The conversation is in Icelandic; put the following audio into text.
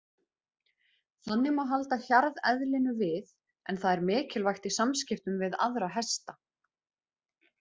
Þannig má halda hjarðeðlinu við en það er mikilvægt í samskiptum við aðra hesta.